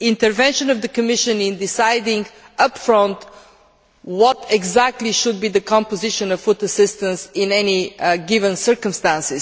intervention of the Commission in deciding up front what exactly should be the composition of food assistance in any given circumstance.